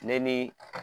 Ne ni